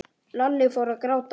Lalli fór að gráta.